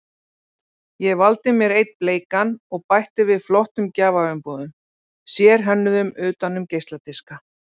Ég valdi mér einn bleikan og bætti við flottum gjafaumbúðum, sérhönnuðum utan um geisladiska.